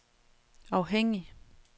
afhængig